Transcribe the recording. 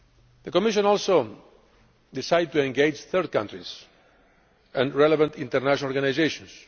The Commission also decided to engage third countries and relevant international organisations.